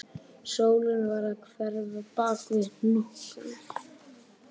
Sólin var að hverfa bak við hnúkana